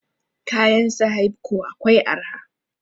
Kayan sahaibco akwai araha